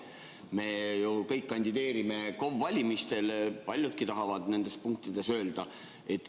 Me kõik kandideerime KOV-ide valimistel, paljudki tahavad nende punktide all midagi öelda.